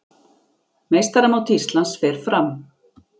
Meistaramót Íslands fer fram